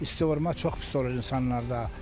İsti vurmaq çox pis olur insanlarda.